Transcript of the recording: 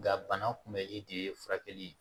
Nga bana kunbɛli de ye furakɛli ye